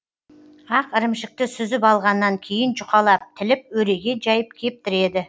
ақ ірімшікті сүзіп алғаннан кейін жұқалап тіліп өреге жайып кептіреді